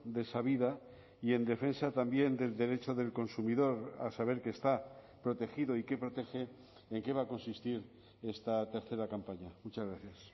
de esa vida y en defensa también del derecho del consumidor a saber qué está protegido y que protege en qué va a consistir esta tercera campaña muchas gracias